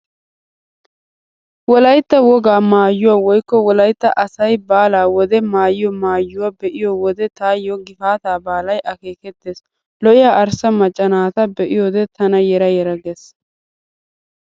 Wolaytta wogaa maayuwaa woykko wolaytta asay baalaa wode maayiyo maayuwaa be'iyo wode taayyo gifaataa baalay akeekettees. Lo''iyaa arssa macca naata be'iyoode tana yera yera gees.